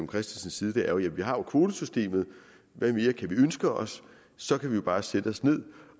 christensens side er vi har jo kvotesystemet hvad mere kan vi ønske os så kan vi jo bare sætte os ned